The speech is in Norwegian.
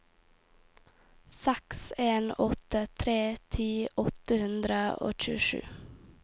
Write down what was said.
seks en åtte tre ti åtte hundre og tjuesju